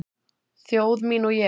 Þjóð mín og ég